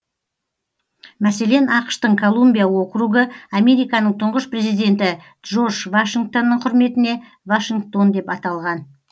мәселен ақш тың колумбия округы американың тұңғыш президенті джордж вашингтонның құрметіне вашингтон деп аталған